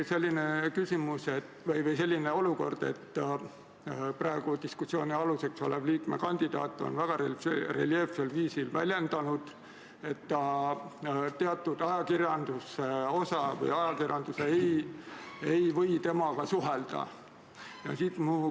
Nüüd on selline olukord, et praegu diskussiooni all olev liikmekandidaat on väga reljeefsel viisil väljendanud, et teatud osa ajakirjandusest ei või temaga suhelda.